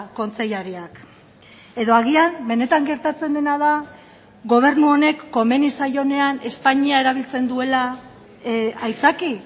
kontseilariak edo agian benetan gertatzen dena da gobernu honek komeni zaionean espainia erabiltzen duela aitzaki